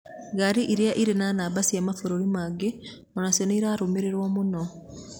Ngarĩ ĩrĩa irĩ na namba cia mabũrũri mangĩ onacio nĩirarumirĩrwo muno